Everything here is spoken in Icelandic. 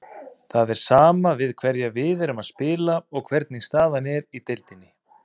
Það er sama við hverja við erum að spila og hvernig staðan er í deildinni.